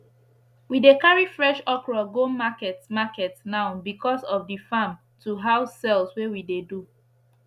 we dey carri fresh okro go market market now becos of the farm to house sales wey we dey do